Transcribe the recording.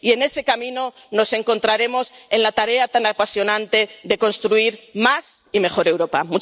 Y, en ese camino, nos encontraremos en la tarea tan apasionante de construir más y mejor Europa.